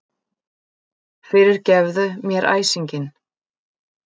Fyrirgefðu mér æsinginn.